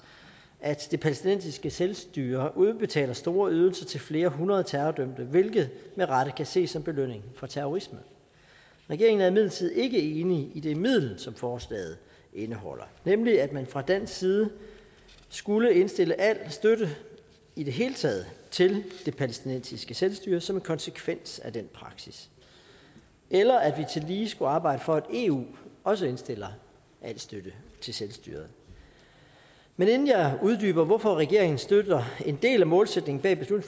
at det palæstinensiske selvstyre udbetaler store ydelser til flere hundrede terrordømte hvilket med rette kan ses som belønning for terrorisme regeringen er imidlertid ikke enig i det middel som forslaget indeholder nemlig at man fra dansk side skulle indstille al støtte i det hele taget til det palæstinensiske selvstyre som en konsekvens af den praksis eller at vi tillige skulle arbejde for at eu også indstiller al støtte til selvstyret men inden jeg uddyber hvorfor regeringen støtter en del af målsætningen bag